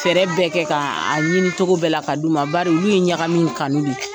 Fɛrɛ bɛɛ kɛ k'a ɲini cogo bɛɛ la k'a di u ma ,bari olu ye ɲagamin kanu de.